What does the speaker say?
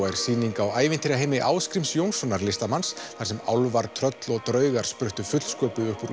er sýning á ævintýraheimi Ásgríms Jónssonar listamanns þar sem álfar tröll og draugar spruttu fullsköpuð upp úr